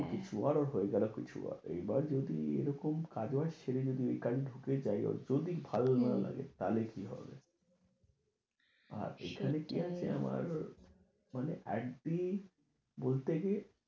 আমারও কিছু হয়ে গেল কিছু আর, এইবার যদি এরকম কাজ আসে, সেটা যদি কাজে ঢুকে যাই, যদি ভালো না লাগে, তাহলে কি হবে। আর এখানে কি আছে আমার মানে একদিন বলতে যে